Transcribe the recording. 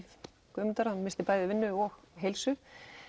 Guðmund missti bæði vinnu og heilsu